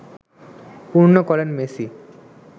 পূর্ণ করেন মেসি